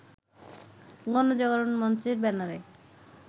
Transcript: গণজাগরণমঞ্চের ব্যানারে